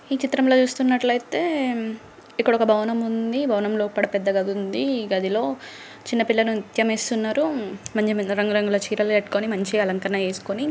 ఈ చిత్రంలో చూస్తున్నట్లైతే ఇక్కడొక భవనం ఉంది భవనం లోపడ ఒక పెద్ద గది ఉంది ఈ గదిలో చిన్న పిల్లలు నృత్యం చేస్తున్నారు మంచి మంచి రంగు రంగుల చీరలు కట్టుకుని మంచి అలంకరణ చేసుకుని--